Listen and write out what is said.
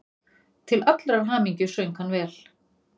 Til allrar hamingju söng hann vel!